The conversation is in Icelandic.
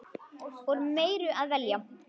Úr meiru að velja!